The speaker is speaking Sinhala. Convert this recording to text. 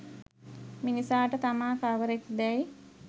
මිනිසාට තමා කවරෙක් දැයි